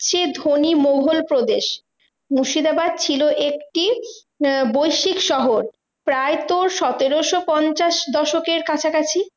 চেয়ে ধনী মোঘল প্রদেশ। মুর্শিদাবাদ ছিল একটি আহ বৈশিক শহর। প্রায় তোর সতেরোশো পঞ্চাশ দশকের কাছাকাছি।